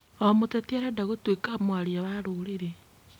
O mũteti arenda gũtwĩka mwaria wa rũrĩrı